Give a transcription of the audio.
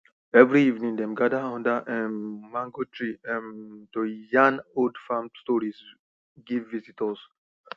every evening dem gather under um mango tree um to yarn old farm stories give visitors